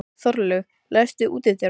Þorlaug, læstu útidyrunum.